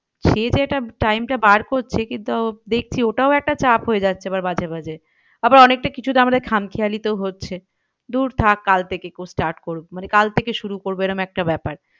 সে যে এটা time টা বার করছে কিন্তু দেখছি ওটাও একটা চাপ হয়ে যাচ্ছে আবার মাঝে মাঝে। আবার অনেকটা কিছুটা আমাদের খাম খেয়ালিতেও হচ্ছে। দূর থাক কাল থেকে start মানে কাল থেকে শুরু করবো মানে এরম একটা ব্যাপার।